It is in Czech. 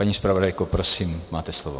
Paní zpravodajko, prosím, máte slovo.